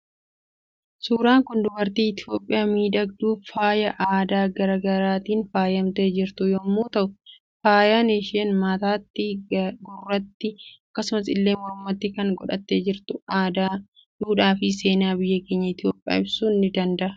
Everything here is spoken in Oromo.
Suuraan Kun dubartii itoophiyaa miidhagduu faayaa aadaa garaa garaatiin faayamtee jirtu yommu ta'uu faayan isheen mataatti, gurratti akkasumas illee mormaatti kan godhatte jirtu aadaa, duudhaa fi seena biyya keenya itoophiya ibsu ni dandaha